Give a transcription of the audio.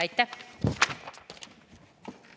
Aitäh!